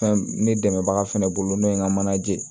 Fɛn ne dɛmɛbaga fɛnɛ bolo n'o ye n ka manaje ye